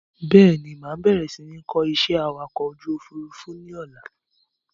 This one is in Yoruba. Bẹ́ẹ̀ni, máa bẹ̀rẹ̀ si ni kọ́ ìṣẹ́ awakọ̀ ojú Òfurufú ni ọ̀la.